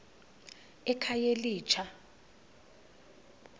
ekhayelitsha